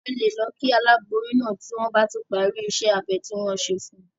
A lè lọ kí aláboyún náà tí wọ́n bá ti parí ìṣe abẹ ti wọ́n fẹ́ ṣe fún un.